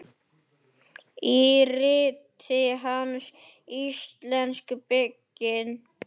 Í riti hans, Íslensk bygging